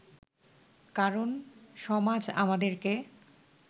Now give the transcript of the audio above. কারণ সমাজ আমাদেরকে